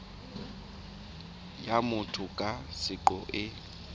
ya motho ka seqo e